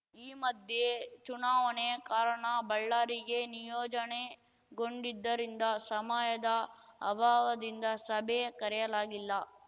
ಈ ಮಧ್ಯ ಚುನಾವಣೆ ಕಾರಣ ಬಳ್ಳಾರಿಗೆ ನಿಯೋಜನೆಗೊಂಡಿದ್ದರಿಂದ ಸಮಯದ ಅಭಾವದಿಂದ ಸಭೆ ಕರೆಯಲಾಗಿಲ್ಲ